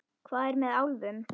Hvað er með álfum?